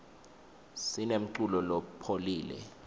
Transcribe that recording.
sinemculo lopholile